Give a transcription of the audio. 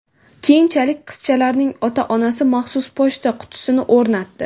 Keyinchalik, qizchalarning ota-onasi maxsus pochta qutisini o‘rnatdi.